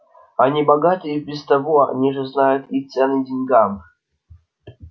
они богаты и без того они же знают и цены деньгам